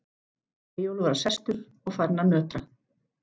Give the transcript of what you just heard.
Eyjólfur var sestur og farinn að nötra.